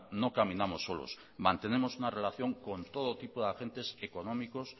no caminamos solos mantenemos una relación con todo tipo de agentes económicos